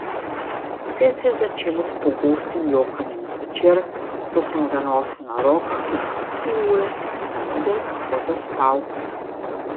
Vse se je začelo s pogostim jokanjem zvečer, ko sem ga nosil na rokah tudi po tri ure, samo da je lahko zaspal.